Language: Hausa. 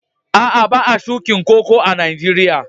Aa, ba'a shukin Koko a'Nijeriya.